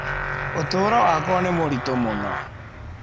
Ũtũũro wakwa nĩ mũritũ mũno.